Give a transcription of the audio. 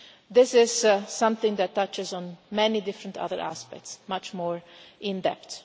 This is something that touches on many different other aspects, much more in depth.